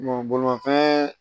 bolimanfɛn